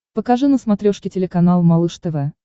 покажи на смотрешке телеканал малыш тв